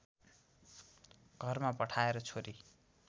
घरमा पठाएर छोरी